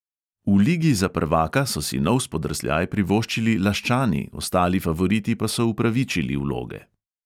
V ligi za prvaka so si nov spodrsljaj privoščili laščani, ostali favoriti pa so upravičili vloge.